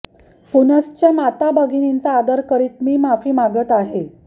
पुनश्च माता भगिनींचा आदर करीत मी माफी मागत आहे